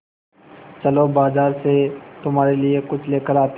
चलो बाज़ार से तुम्हारे लिए कुछ लेकर आते हैं